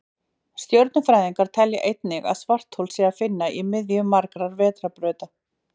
Stjörnufræðingar telja einnig að svarthol sé að finna í miðju margra vetrarbrauta.